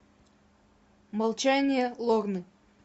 молчание лорны